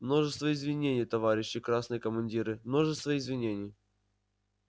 множество извинений товарищи красные командиры множество извинений